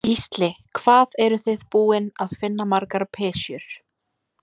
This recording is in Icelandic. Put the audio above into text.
Gísli: Hvað eruð þið búin að finna margar pysjur?